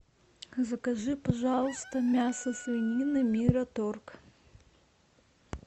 закажи пожалуйста мясо свинины мираторг